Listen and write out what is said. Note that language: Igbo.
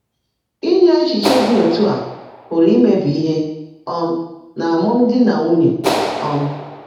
Ínyé é́chíché ḍị́ ọ́tú́ á pụ́rụ́ ímèbí íhe um n’ámụ́mdị́ nà nwúnyé. um